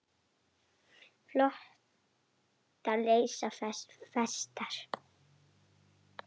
Flotar leysa festar.